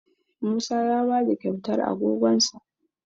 Musa ya ba da kyautar agogonsa